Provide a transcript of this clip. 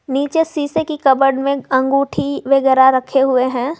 नीचे शीशे की कपबोर्ड में अंगूठी वगैरा रखे हुए हैं।